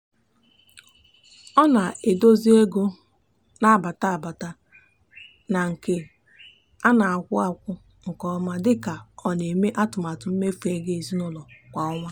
ọ na-edozi ego na-abata abata na nke a na-akwụ akwụ nke ọma dị ka ọ na-eme atụmatụ mmefu ego ezinụụlọ kwa ọnwa.